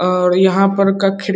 और यहां पर का खिड़ --